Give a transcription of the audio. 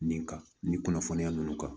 Nin kan nin kunnafoniya ninnu kan